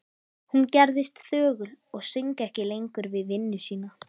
Hún gerðist þögul og söng ekki lengur við vinnu sína.